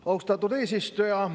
Austatud eesistuja!